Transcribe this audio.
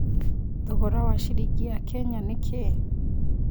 thogora wa ciringi ya Kenya nĩ kĩĩ